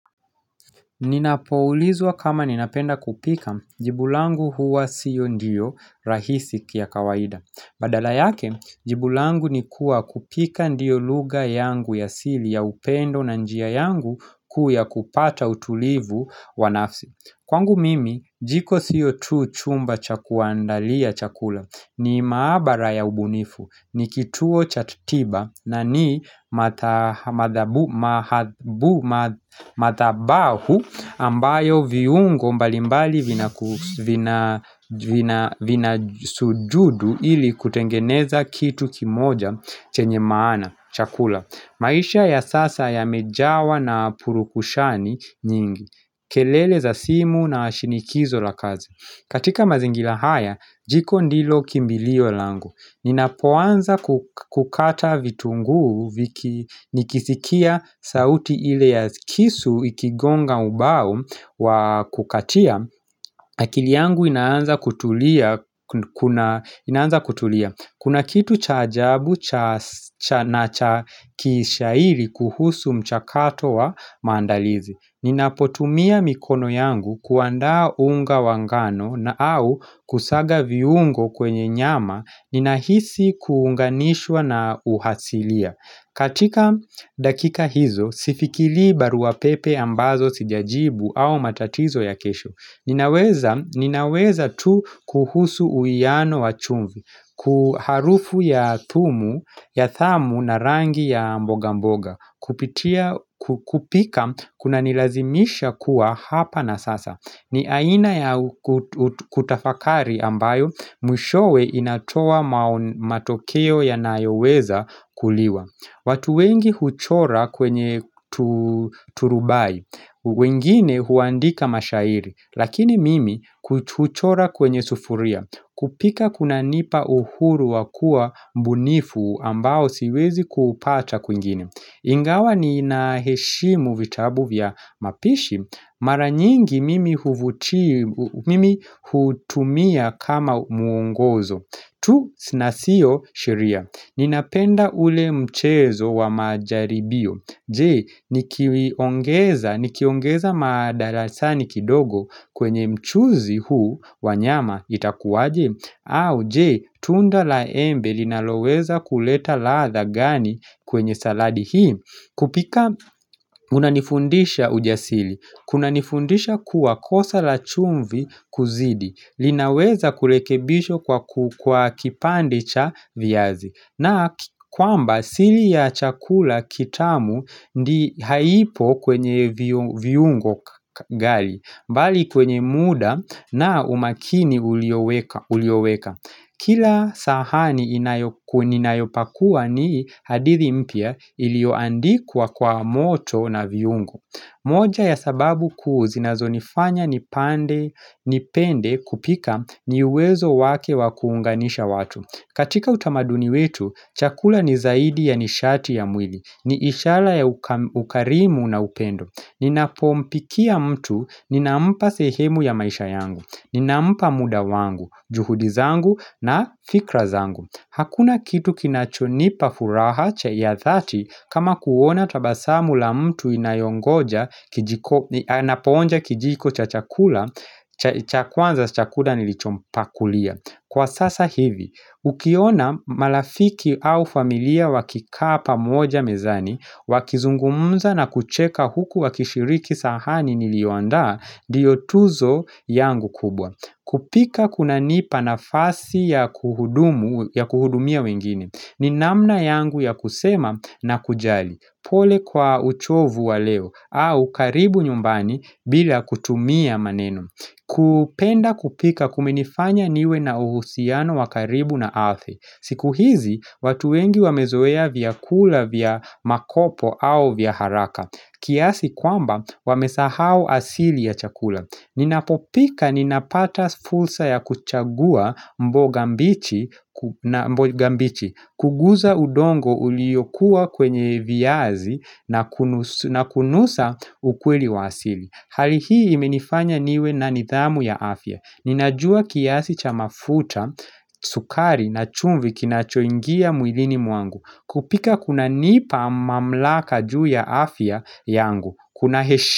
Ninapoulizwa kama ninapenda kupika, jibu langu huwa siyo ndiyo rahisi kwa kawaida Badala yake, jibu langu ni kuwa kupika ndiyo lugha yangu ya siri ya upendo na njia yangu kuu ya kupata utulivu wa nafsi kwangu mimi jiko sio tu chumba cha kuandalia chakula ni maabara ya ubunifu ni kituo cha kitiba na ni madhabahu ambayo viungo mbalimbali vina sujudu ili kutengeneza kitu kimoja chenye maana chakula maisha ya sasa yamejawa na purukushani nyingi kelele za simu na shinikizo la kazi katika mazingira haya, jiko ndilo kimbilio langu Ninapoanza kukata vitunguu nikisikia sauti ile ya kisu ikigonga ubao wa kukatia akili yangu inaanza kutulia, kuna kitu cha ajabu cha na cha kishairi kuhusu mchakato wa maandalizi. Ninapotumia mikono yangu kuandaa unga wa ngano au kusaga viungo kwenye nyama ninahisi kuunganishwa na uhasilia katika dakika hizo, sifikirii barua pepe ambazo sijajibu au matatizo ya kesho. Ninawaza tu kuhusu uwiano wa chumvi, harufu ya thumu, na rangi ya mboga mboga kupitia kupika kuna nilazimisha kuwa hapa na sasa. Ni aina ya kutafakari ambayo mwishowe inatoa matokeo yanayoweza kuliwa. Watu wengi huchora kwenye turubai, wengine huandika mashairi lakini mimi huchora kwenye sufuria. Kupika kunanipa uhuru wa kuwa mbunifu ambao siwezi kuupata kwingine. Ingawa nina heshimu vitabu vya mapishi. Maranyingi mimi hutumia kama muongozo. Tu na sio sheria, ninapenda ule mchezo wa majaribio, je nikiongeza mdalasini kidogo kwenye mchuzi huu wa nyama itakuwaje, au je, tunda la embe linaweza kuleta ladha gani kwenye saladi hii. Kupika kunanifundisha ujasiri, kunanifundisha kuwa kosa la chumvi kuzidi, linaweza kurekebishwa kwa kipande cha viazi na kwamba siri ya chakula kitamu haipo kwenye viungo ghali, bali kwenye muda na umakini ulioweka Kila sahani ninayopakua ni hadithi mpya iliyoandikwa kwa moto na viungo moja ya sababu kuu zinazo nifanya nipande nipende kupika ni uwezo wake wa kuunganisha watu. Katika utamaduni wetu, chakula ni zaidi ya nishati ya mwili, ni ishara ya ukarimu na upendo. Ninapompikia mtu, ninampa sehemu ya maisha yangu, ninampa muda wangu, juhudi zangu na fikra zangu. Hakuna kitu kinachonipa furaha ya dhati kama kuona tabasamu la mtu inayongoja Anapoonja kijiko cha chakula cha kwanza cha chakula nilichompakulia. Kwa sasahivi, ukiona marafiki au familia wakikaa pamoja mezani wakizungumza na kucheka huku wakishiriki sahani niliyoandaa ndiyo tuzo yangu kubwa. Kupika kuna nipa nafasi ya kuhudumu ya kuhudumia wengine. Ni namna yangu ya kusema na kujali. Pole kwa uchovu wa leo au karibu nyumbani bila kutumia maneno kupenda kupika kumenifanya niwe na uhusiano wa karibu na ardhi. Siku hizi, watu wengi wamezoea vyakula vya makopo au vya haraka, kiasi kwamba wamesahau asili ya chakula. Ninapopika ninapata fursa ya kuchagua mboga mbichi, kugusa udongo uliyokuwa kwenye viazi na kunusa ukweli wa asili. Hali hii imenifanya niwe na nidhamu ya afya. Ninajua kiasi cha mafuta, sukari na chumvi kinachoingia mwilini mwangu. Kupika kunanipa mamlaka juu ya afya yangu Kuna heshi.